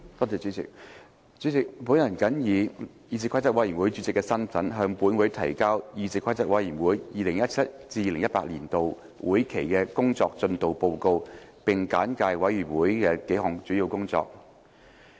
主席，本人謹以議事規則委員會主席的身份，向本會提交議事規則委員會 2017-2018 年度會期的工作進度報告，並簡介委員會數項主要工作。